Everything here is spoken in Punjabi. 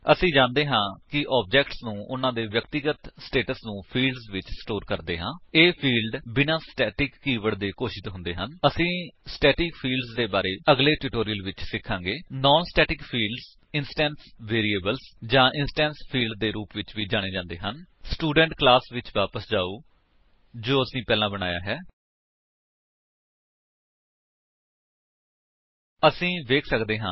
http ਡਬਲਯੂਡਬਲਯੂਡਬਲਯੂਡਬਲਯੂਡਬਲਯੂਡਬਲਯੂਡਬਲਯੂਡਬਲਯੂਡਬਲਯੂਡਬਲਯੂਡਬਲਯੂਡਬਲਯੂਡਬਲਯੂਡਬਲਯੂਡਬਲਯੂਡਬਲਯੂਡਬਲਯੂਡਬਲਯੂਡਬਲਯੂਡਬਲਯੂਡਬਲਯੂਡਬਲਯੂਡਬਲਯੂਡਬਲਯੂਡਬਲਯੂਡਬਲਯੂਡਬਲਯੂਡਬਲਯੂਡਬਲਯੂਡਬਲਯੂਡਬਲਯੂਡਬਲਯੂਡਬਲਯੂਡਬਲਯੂਡਬਲਯੂਡਬਲਯੂਡਬਲਯੂਡਬਲਯੂਡਬਲਯੂਡਬਲਯੂ ਸਪੋਕਨ ਟਿਊਟੋਰੀਅਲ ਓਰਗ ਅਸੀ ਜਾਣਦੇ ਹਾਂ ਕਿ ਆਬਜੇਕਟਸ ਉਨ੍ਹਾਂ ਦੇ ਵਿਅਕਤੀਗਤ ਸਟੇਟਸ ਨੂੰ ਫੀਲਡਜ਼ ਵਿੱਚ ਸਟੋਰ ਕਰਦੇ ਹਾਂ